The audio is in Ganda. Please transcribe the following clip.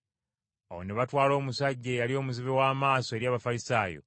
Awo ne batwala omusajja eyali omuzibe w’amaaso eri Abafalisaayo.